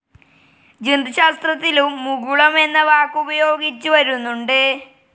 ജന്തുശാസ്ത്രത്തിലും മുകുളം എന്ന വാക്കുപയോഗിച്ചുവരുന്നുണ്ട്.